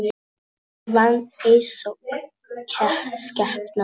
Ég vann einsog skepna.